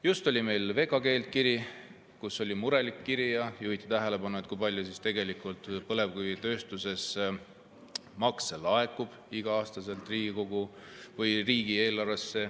Just saabus meile murelik kiri VKG-lt, kus juhiti tähelepanu, kui palju tegelikult põlevkivitööstusest iga-aastaselt riigieelarvesse makse laekub.